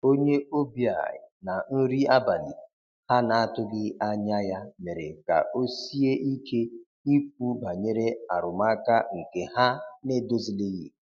onye obia na nri abali ha na atughi anya ya mere ka osie ike Ikwu banyere arụmaka nke ha na edozilighi.